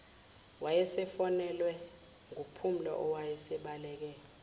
wayesefonelwe nguphumla owasebaleke